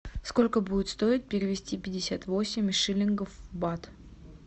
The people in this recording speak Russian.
сколько будет стоить перевести пятьдесят восемь шиллингов в бат